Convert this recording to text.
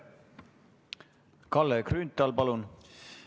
Kalle Grünthal, palun!